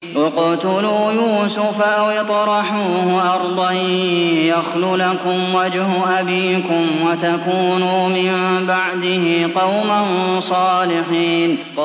اقْتُلُوا يُوسُفَ أَوِ اطْرَحُوهُ أَرْضًا يَخْلُ لَكُمْ وَجْهُ أَبِيكُمْ وَتَكُونُوا مِن بَعْدِهِ قَوْمًا صَالِحِينَ